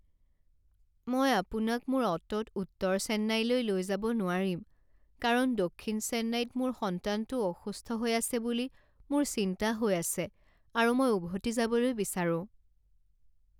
মই আপোনাক মোৰ অ'টোত উত্তৰ চেন্নাইলৈ লৈ যাব নোৱাৰিম কাৰণ দক্ষিণ চেন্নাইত মোৰ সন্তানটো অসুস্থ হৈ আছে বুলি মোৰ চিন্তা হৈ আছে আৰু মই উভতি যাবলৈ বিচাৰোঁ।